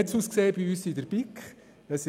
Wie hat es bei uns in der BiK ausgesehen?